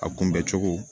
A kunbɛ cogo